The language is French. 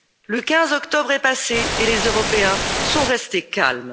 Le 15 octobre est passé et les Européens sont restés calmes.